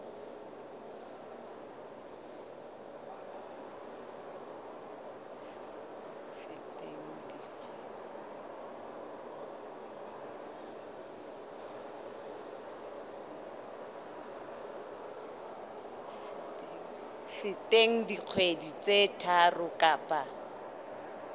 feteng dikgwedi tse tharo kapa